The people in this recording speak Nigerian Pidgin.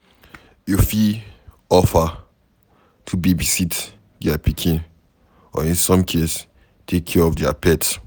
You fit offer to babysit their pikin or in some case take care of their pet